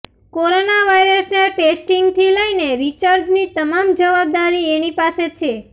corona વાઇરસના ટેસ્ટિંગથી લઈને રિસર્ચની તમામ જવાબદારી એની પાસે છે